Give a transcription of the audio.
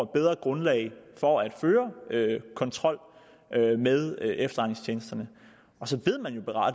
bedre grundlag for at føre kontrol med efterretningstjenesterne så